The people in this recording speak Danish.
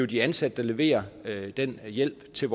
de ansatte der leverer den hjælp til